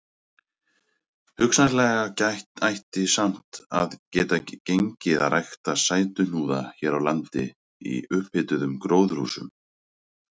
Hugsanlega ætti samt að geta gengið að rækta sætuhnúða hér á landi í upphituðum gróðurhúsum.